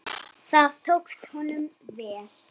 Það tókst honum vel.